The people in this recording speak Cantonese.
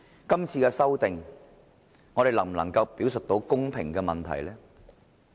今次的修訂，我們能否表述到公平呢？